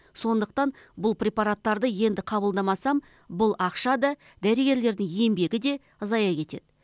сондықтан бұл препараттарды енді қабылдамасам бұл ақша да дәрігерлердің еңбегі де зая кетеді